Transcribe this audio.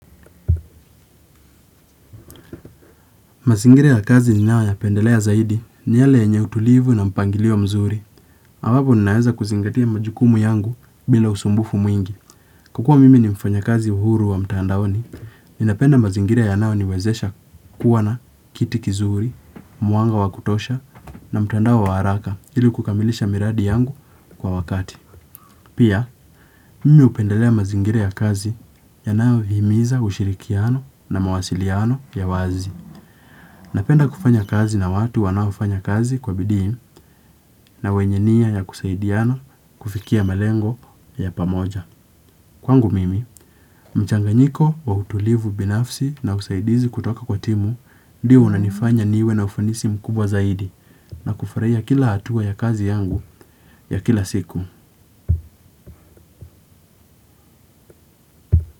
Mazingire ya kazi ninayo yapendelea zaidi ni yale yenye utulivu na mpangilio mzuri. Awapo ni naweza kuzingatia majukumu yangu bila usumbufu mwingi. Kukuwa mimi ni mfanya kazi uhuru wa mtandaoni, ni napenda mazingira ya nao niwezesha kuwa na kiti kizuri, mwanga wa kutosha na mtandao wa haraka ili kukamilisha miradi yangu kwa wakati. Pia, mimi upendelea mazingira ya kazi yanao himiza ushirikiano na mawasiliano ya wazi. Napenda kufanya kazi na watu wanaofanya kazi kwa bidii na wenye nia ya kusaidiana kufikia malengo ya pamoja. Kwangu mimi, mchanganyiko wa utulivu binafsi na usaidizi kutoka kwa timu ndiyo unanifanya niwe na ufanisi mkubwa zaidi na kufurahia kila hatua ya kazi yangu ya kila siku.